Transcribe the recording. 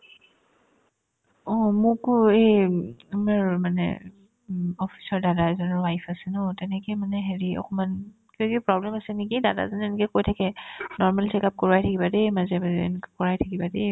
অ, মোকো এই আমাৰ মানে উম office ৰ দাদা এজনৰ wife আছে ন তেনেকে মানে হেৰি অকমান কিবাকিবি problem আছে নেকি দাদাজনে এনেকে কৈ থাকে normally check up কৰোৱাই থাকিবা দে মাজে মাজে এনেকা কৰাই থাকিবা দে